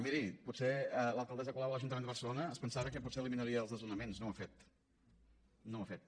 miri potser l’alcaldessa colau a l’ajuntament de barcelona es pensava que potser eliminaria els desnonaments no ho ha fet no ho ha fet